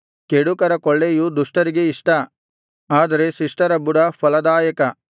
ಕೆಡುಕರ ಕೊಳ್ಳೆಯು ದುಷ್ಟರಿಗೆ ಇಷ್ಟ ಆದರೆ ಶಿಷ್ಟರ ಬುಡ ಫಲದಾಯಕ